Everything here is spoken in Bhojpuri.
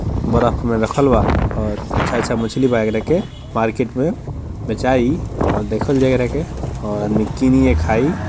बरफ में रखल बा और अच्छा अच्छा मछली ब एकरा के मार्केट मे बेचाई और देखल जई एकरा के और आदमी किन के खाई।